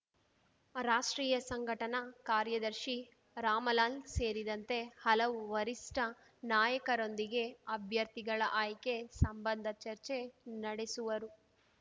ರಾಷ್ಟ್ರೀಯ ಸಂಘಟನಾ ಕಾರ್ಯದರ್ಶಿ ರಾಮಲಾಲ್ ಸೇರಿದಂತೆ ಹಲವು ವರಿಷ್ಠ ನಾಯಕರೊಂದಿಗೆ ಅಭ್ಯರ್ಥಿಗಳ ಆಯ್ಕೆ ಸಂಬಂಧ ಚರ್ಚೆ ನಡೆಸುವರು